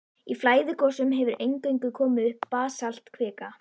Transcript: Í flæðigosum hefur eingöngu komið upp basaltkvika.